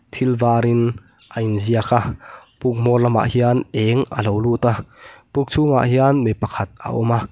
thil varin a inziak a puk hmawr lamah hian eng a lo lut a puk chhungah hian mi pakhat a awm a.